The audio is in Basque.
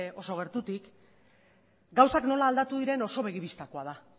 oso gertutik gauzak nola aldatu diren oso begi bistakoa da